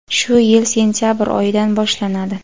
shu yil sentyabr oyidan boshlanadi.